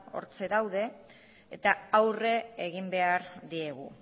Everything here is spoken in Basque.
hortxe daude eta aurre egin behar diegu